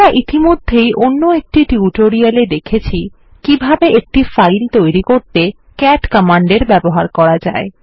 আমরা ইতিমধ্যেই অন্য একটি টিউটোরিয়াল এ দেখেছি কিভাবে একটি ফাইল তৈরি করতে ক্যাট কমান্ডের ব্যবহার করা যায়